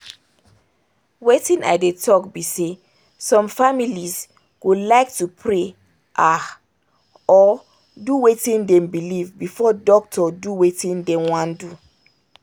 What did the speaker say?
watin i dey talk be say some families go like to pray ahh! or do watin them believe before doctor do watin them wan do